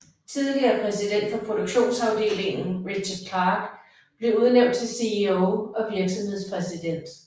Tidligere præsident for produktionsafdeligen Richard Clark blev udnævnt til CEO og virksomhedspræsident